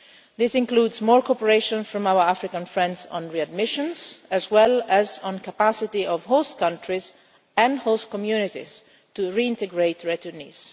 This includes more cooperation from our African friends on readmissions as well as on the capacity of host countries and host communities to reintegrate returnees.